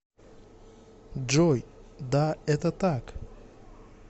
джой да это так